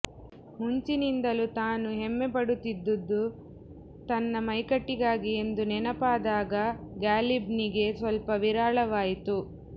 ಮುಂಚಿನಿಂದಲೂ ತಾನು ಹೆಮ್ಮೆಪಡುತ್ತಿದ್ದುದು ತನ್ನ ಮೈಕಟ್ಟಿಗಾಗಿ ಎಂದು ನೆನಪಾದಾಗ ಗಾಲಿಬ್ನಿಗೆ ಸ್ವಲ್ಪ ನಿರಾಳವಾಯಿತು